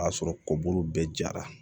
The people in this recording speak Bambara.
O y'a sɔrɔ kɔburu bɛɛ jara